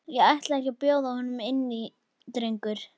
Og ætlarðu ekki að bjóða honum inn drengur?